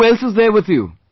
Who else is there with you